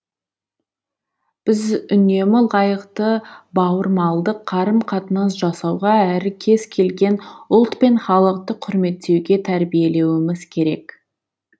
біз үнемі лайықты бауырмалдық қарым қатынас жасауға әрі кез келген ұлт пен халықты құрметтеуге тәрбиелеуіміз керек